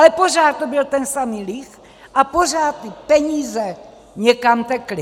Ale pořád to byl ten samý líh a pořád ty peníze někam tekly.